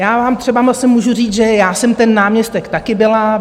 Já vám třeba zase můžu říct, že já jsem ten náměstek taky byla.